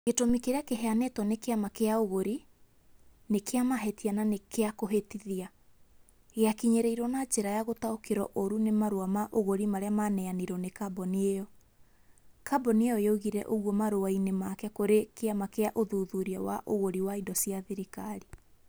Gĩtũmi kĩrĩa kĩheanĩtwo nĩ kĩama kĩa ũgũri... Nĩ kĩa mahĩtia na nĩ kĩa kũhĩtithia. Gĩakinyereiruo na njĩra ya gũtaũkĩrũo ũũru nĩ marũa ma ũgũri marĩa maneanirwo nĩ kambuni ĩo. kambuni ĩyo yoigire oguo marũa-inĩ make kũrĩ kĩama kĩa ũthuthuria wa ũgũri wa indo cia thirikari.